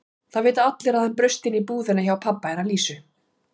Það vita allir að hann braust inn í búðina hjá pabba hennar Lísu.